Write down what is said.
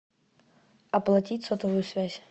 оплатить сотовую связь